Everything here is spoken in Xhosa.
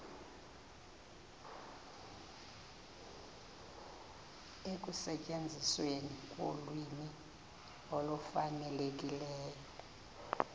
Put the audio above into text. ekusetyenzisweni kolwimi olufanelekileyo